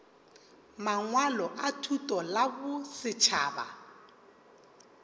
mangwalo a thuto la bosetšhaba